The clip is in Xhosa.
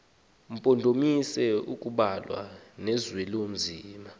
mpondomise kubalwa nozwelinzima